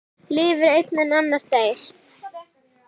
Lifir einn en annar deyr?